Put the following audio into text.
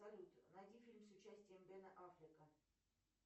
салют найди фильмы с участием бена аффлека